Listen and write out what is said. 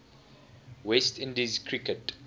west indies cricket